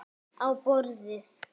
Á borðið.